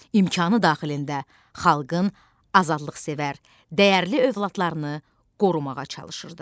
İmkanı daxilində xalqın azadlıqsevər, dəyərli övladlarını qorumağa çalışırdı.